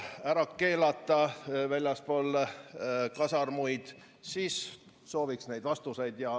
... ära keelata väljaspool kasarmuid, siis sooviks neid vastuseid.